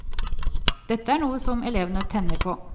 Dette er noe som elevene tenner på.